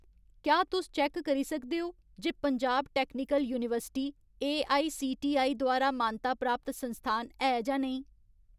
क्या तुस चैक्क करी सकदे ओ जे पंजाब टैक्नीकल यूनिवर्सिटी एआईसीटीई द्वारा मानता प्राप्त संस्थान है जां नेईं ?